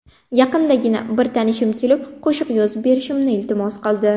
Yaqindagina bir tanishim kelib, qo‘shiq yozib berishimni iltimos qildi.